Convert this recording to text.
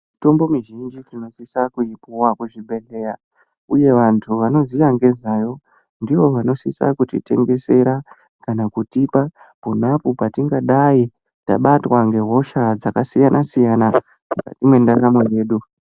Mitombo mizhinji tinosisa kuipuwa kuzvibhedhleya. Uye vantu vanoziya ngezvayo ndivo vanosisa kutitengesera kana kutipa ponapo patingadai tabatwa ngehosha dzakasiyana siyana mukati mwendaramo yedu.